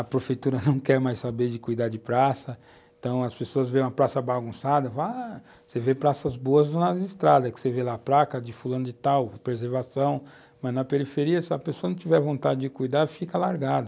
A prefeitura não quer mais saber de cuidar de praça, então as pessoas veem uma praça bagunçada, vá... você vê praças boas nas estradas, é que você vê lá a placa de fulano de tal, preservação, mas na periferia, se a pessoa não tiver vontade de cuidar, fica largado.